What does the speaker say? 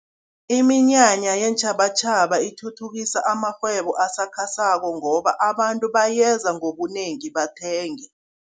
Iminyanya yeentjhabatjhaba ithuthukisa amarhwebo asakhasako, ngoba abantu bayeza ngobunengi bathenge.